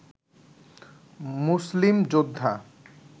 মুসলিম যোদ্ধা